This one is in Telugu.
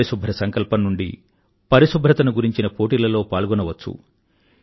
పరిశుభ్ర సంకల్పం నుండి పరిశుభ్రతను గురించిన పోటీలలో పాల్గొనవచ్చు